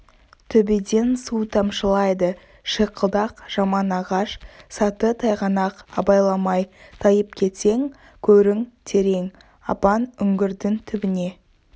төбеден су тамшылайды шиқылдақ жаман ағаш саты тайғанақ абайламай тайып кетсең көрің терең апан үңгірдің түбіне